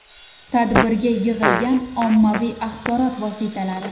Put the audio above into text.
Tadbirga yig‘ilgan ommaviy axborot vositalari.